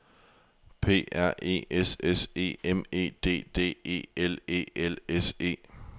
P R E S S E M E D D E L E L S E